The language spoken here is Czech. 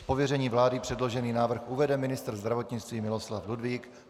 Z pověření vlády předložený návrh uvede ministr zdravotnictví Miloslav Ludvík.